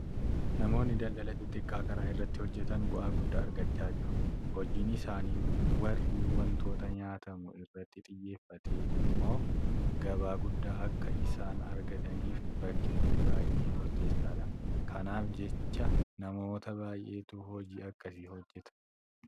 Namoonni daldala xixiqqaa karaa irratti hojjetan bu'aa guddaa argachaa jiru. Hojiin isaanii warri waantota nyaatamu irratti xiyyeeffate immoo gabaa guddaa akka isaan argataniif bakkichi baay'ee murteessaadha. Kanaaf jecha namoota baay'eetu hojii akkasii hojjeta.